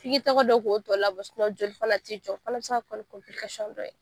F'i ki tɛgɛ don k'o tɔ labɔ joli fana te jɔ . O fana be se ka kɛ dɔ ye.